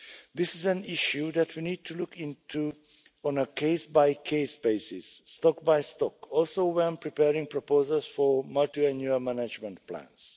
This is an issue that we need to look into on a case-by-case basis, stock by stock, also when preparing proposals for multiannual management plans.